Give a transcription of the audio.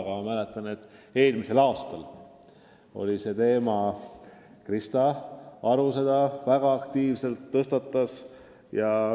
Ma mäletan, et eelmisel aastal tõstatas selle teema väga aktiivselt Krista Aru.